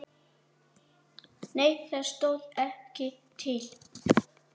Nei það stóð ekki til.